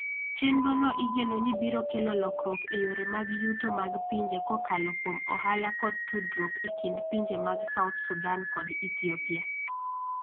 Chenrono igeno ni biro kelo lokruok e yore mag yuto mag pinje kokalo kuom ohala kod tudruok e kind pinje mag South Sudan kod Ethiopia.